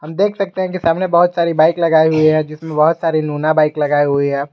देख सकते हैं कि सामने बहुत सारी बाइक लगाई हुई है जिसमें बहु सारी लूना बाइक लगाई हुई है।